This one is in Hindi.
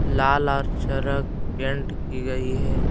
लाल और चरक पेंट की गई है।